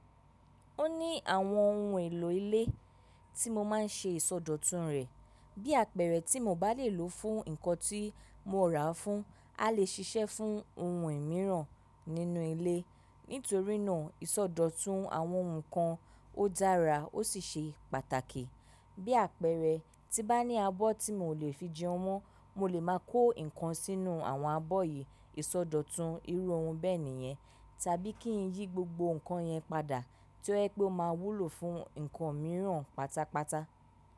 Ó ní àwọn ohun èlò ilé tí mo má ń ṣe ìsọdọ̀tun rẹ̀. Bí àpẹẹrẹ tí mo bá lè lò fún ǹkan tí mo ràá fún, a lè ṣiṣẹ́ fún ohun mìíràn nínú ilé. Nítorínà ìsọdọ̀tun àwọn nǹkan ó dára ó sì ṣe pàtàkì. Bí àpẹẹrẹ, tí n bá ní abọ́ tí mi ò lè fi jẹun mọ́, mo lè máa kó ǹkan sí inú àwọn abọ́ yí, ìsọdọ̀tun irú ohun bẹ nìyẹn tàbí kí n yí gbogbo nǹkan yẹn padà tí ó jẹ́ pé ó máa wúlò fún nǹkan míràn pátápátá.